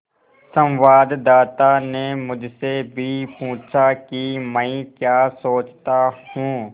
संवाददाता ने मुझसे भी पूछा कि मैं क्या सोचता हूँ